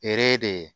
de ye